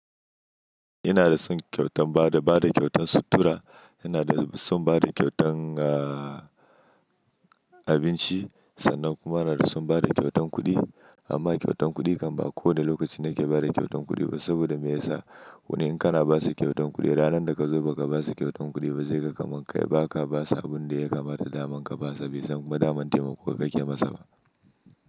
Ina da son kyautan bada, bada kyautan sutura, ina da son bada kyautan abinci sannan kuma ina da son bada kyautan kuɗi. Amma kyautan kuɗi kamba a kowane lokaci nake bada kyautan kuɗi ba saboda me yasa? Wani in kana basu kyautan kuɗi ranar da ka zo baka basu kyautan kuɗi ba zai ga kamar ka yi baka basa abun da ya kamata daman ka basa bai san ma daman taimako ka ke masa ba.